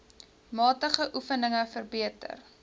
matige oefeninge verbeter